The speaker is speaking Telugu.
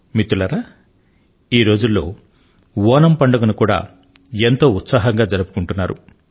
మిత్రులారా ఈ రోజుల్లో ఓణమ్ పండుగను కూడా ఎంతో ఉత్సాహంగా జరుపుకొంటున్నారు